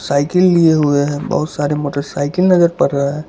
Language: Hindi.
साइकिल लिए हुए हैं बहोत सारे मोटरसाइकिल नजर पड़ रहा है।